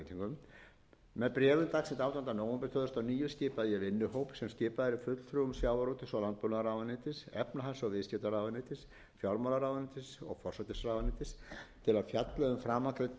um stjórn fiskveiða með síðari breytingum með bréfi dagsettu átjánda nóvember tvö þúsund og níu skipaði ég vinnuhóp sem skipaður er fulltrúum sjávarútvegs og landbúnaðarráðuneytis efnahags og viðskiptaráðuneytis fjármálaráðuneytis og forsætisráðuneytis til að fjalla